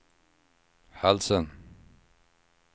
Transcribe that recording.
halsen